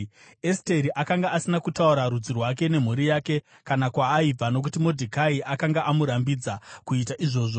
Esteri akanga asina kutaura rudzi rwake nemhuri yake, kana kwaaibva, nokuti Modhekai akanga amurambidza kuita izvozvo.